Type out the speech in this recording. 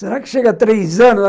Será que chega a três anos?